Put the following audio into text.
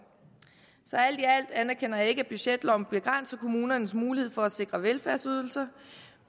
så alt i alt anerkender jeg ikke at budgetloven begrænser kommunernes mulighed for at sikre velfærdsydelser